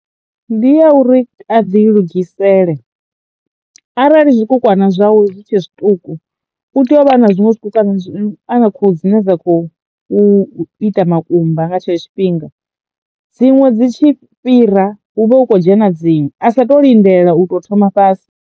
Ndi ya uri a ḓi lugisela arali zwikukwana zwawe zwi tshe zwiṱuku u tea u vha na zwiṅwe zwi kukwama ana khuhu dzi ne dza khou ita makumba nga tshetsho tshifhinga dziṅwe dzi tshi fhira hu vhe hu kho dzhena dziṅwe a sa to lindela u tou thoma fhasi.